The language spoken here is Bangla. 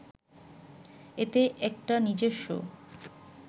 এতে একটা নিজস্ব